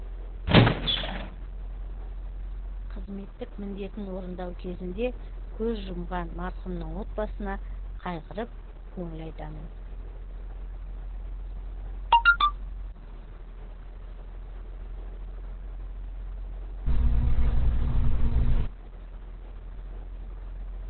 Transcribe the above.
қызметтік міндетін орындау кезінде көз жұмған марқұмның отбасына қайғырып көңіл айтамын